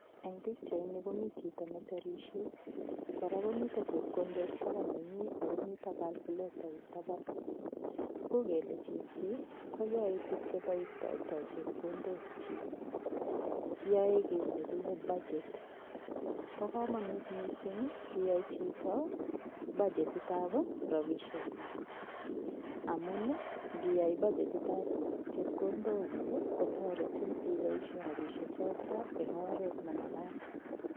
Eng' pikchaini komi chito neserishei kora komito chepkondok taban nenyi akomito kalkulatait taban uu kele chichi koyoei tukche boistoitoi chepkondok chi yoei kii nekile budget bo komonut mising' iyai choto bagetitab robishek kuk amun ngiyai bagetitab chepkondok kuk kotoretin iboishe rabishechoto eng' oret nemakat